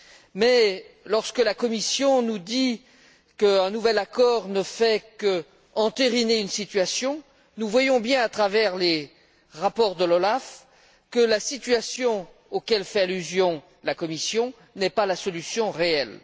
Mais, lorsque la Commission nous dit qu'un nouvel accord ne fait qu'entériner une situation, nous voyons bien, à travers les rapports de l'OLAF, que la situation à laquelle la Commission fait allusion n'est pas la solution réelle.